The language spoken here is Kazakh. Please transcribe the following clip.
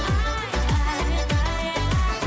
ай ай ай ай